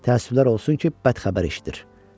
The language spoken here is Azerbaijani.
Təəssüflər olsun ki, bəd xəbər eşidir.